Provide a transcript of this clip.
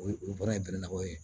O ye olu bɔra yen gɛrɛnnaw ye